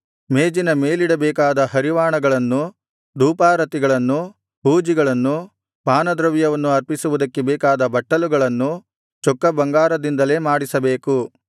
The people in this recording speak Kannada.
ಮೇಜಿನ ಮೇಲಿಡಬೇಕಾದ ಹರಿವಾಣಗಳನ್ನು ಧೂಪಾರತಿಗಳನ್ನು ಹೂಜಿಗಳನ್ನು ಪಾನದ್ರವ್ಯವನ್ನು ಅರ್ಪಿಸುವುದಕ್ಕೆ ಬೇಕಾದ ಬಟ್ಟಲುಗಳನ್ನು ಚೊಕ್ಕ ಬಂಗಾರದಿಂದಲೇ ಮಾಡಿಸಬೇಕು